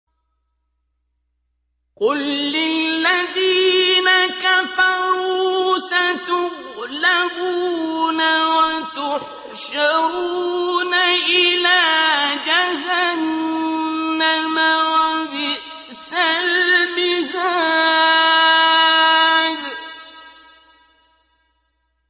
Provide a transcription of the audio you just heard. قُل لِّلَّذِينَ كَفَرُوا سَتُغْلَبُونَ وَتُحْشَرُونَ إِلَىٰ جَهَنَّمَ ۚ وَبِئْسَ الْمِهَادُ